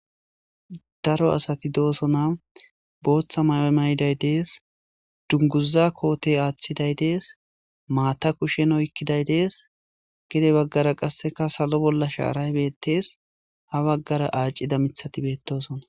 daro asati doosona booththa mayo mayday dees dunguza kootey aaththiday dees maata kushshen oykkiday dees gide baggara qasseka salo bolla shaaray beettes ha baggara aacida mithati beettosona